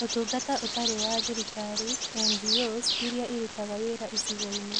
Ũtungata Ũtarĩ wa Thirikari (NGOs) iria irutaga wĩra ĩcigo-inĩ.